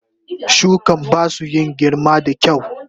Shukan basu in girma da kyau.